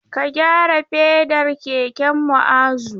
Ka gyara fedar keken Mu'azu!